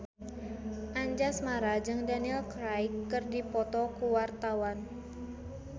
Anjasmara jeung Daniel Craig keur dipoto ku wartawan